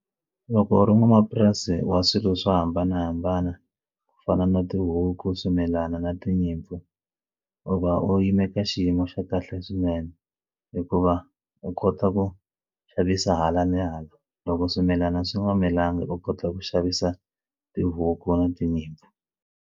Loko u ri n'wamapurasi wa swilo swo hambanahambana ku fana na tihuku swimilana na tinyimpfu u va u yime ka xiyimo xa kahle swinene hikuva u kota ku xavisa hala ni hala loko swimilana swi nga milangi u kota ku xavisa tihuku na tinyimpfu.